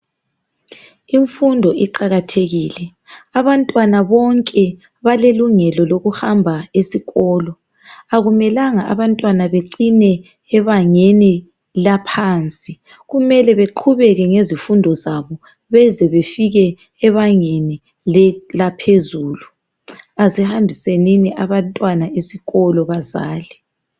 Imfundo iqakathekile, abantwana bonke balelungelo lokuhamba esikolo. Akumelanga abantwana becine ebangeni laphansi. Kumele beqhubeke ngezifundo zabo beze befike ebangeni laphezulu. Asihambisenini abantwana esikolo bazali.